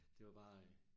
Det var bare